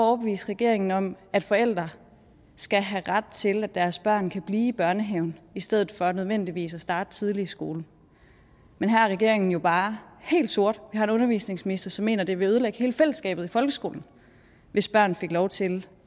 overbevise regeringen om at forældre skal have ret til at deres børn kan blive i børnehaven i stedet for nødvendigvis at starte tidligt i skole men her er regeringen jo bare helt sort vi har en undervisningsminister som mener at det vil ødelægge hele fællesskabet i folkeskolen hvis børn fik lov til